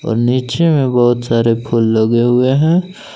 और नीचे में बहुत सारे फूल लगे हुए हैं।